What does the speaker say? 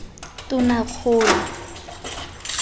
tonakgolo